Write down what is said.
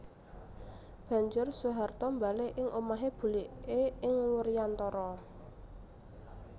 Banjur Soeharto mbalik ing omahé buliké ing Wuryantara